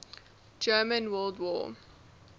german world war